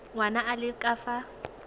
ngwana a le ka fa